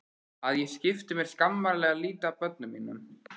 Að ég skipti mér skammarlega lítið af börnum mínum.